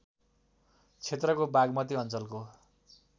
क्षेत्रको बागमती अञ्चलको